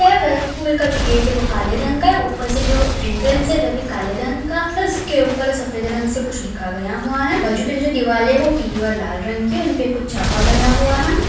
School का जो gate है वो काले रंग का है पर से जो एंट्रेंस है वो भी काले रंग का और उसके ऊपर सफ़ेद रंग से कुछ लिखा गया है बाजू की जो दिवार है वो पील और लाल रंग की उनपे कुछ छापा गया हुआ है।